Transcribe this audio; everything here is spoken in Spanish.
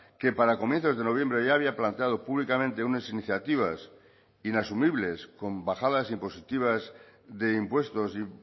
que para comienzos de noviembre ya había planteado públicamente unas iniciativas inasumibles con bajadas impositivas de impuestos y